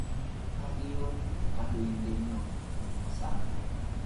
Kakeyon kandoindenyo sang.